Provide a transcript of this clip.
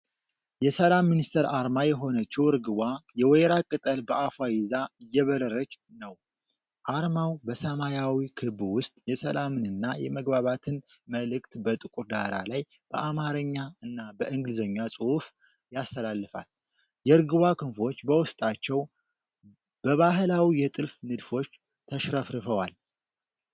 የሰላም ሚኒስቴር አርማ የሆነችው ርግቧ የወይራ ቅጠል በአፏ ይዛ እየበረረች ነው። አርማው በሰማያዊ ክብ ውስጥ የሰላምንና የመግባባትን መልዕክት በጥቁር ዳራ ላይ በአማርኛ እና በእንግሊዝኛ ጽሑፍ ያስተላልፋል። የርግቧ ክንፎች በውስጣቸው በባህላዊ የጥልፍ ንድፎች ተሽረፍርፈዋል።